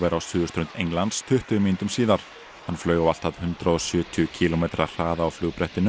á suðurströnd Englands tuttugu mínútum síðar hann flaug á allt að hundrað og sjötíu kílómetra hraða á